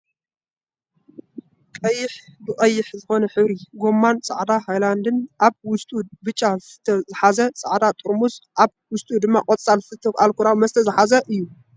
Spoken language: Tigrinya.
ቀይሕ ብቀይሕ ዝኮነ ሕብሪ ጎማን ፃዕዳ ሃይላንድ ኣ ውሽጡ ቡጫ ዝስተ ዝሓዘን ፃዕዳ ፅሩሙዝ ኣብ ውሽጡ ድማ ቆፃል ዝስተ ኣልኮላዊ መስተ ዝሓዘእዩ።